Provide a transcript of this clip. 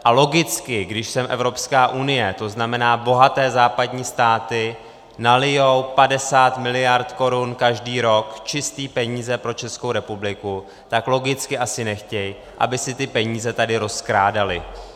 A logicky, když sem Evropská unie, to znamená bohaté západní státy, nalijí 50 miliard korun každý rok, čisté peníze pro Českou republiku, tak logicky asi nechtějí, aby se ty peníze tady rozkrádaly.